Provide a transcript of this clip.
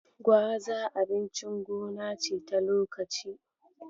Gwaza abincin gona ce ta lokaci.